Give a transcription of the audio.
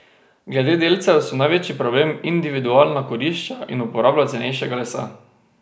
Glede delcev so največji problem individualna kurišča in uporaba cenejšega lesa.